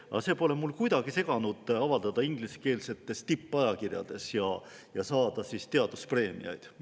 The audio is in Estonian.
Aga see pole mul kuidagi seganud avaldada ingliskeelsetes tippajakirjades ja saada teaduspreemiaid.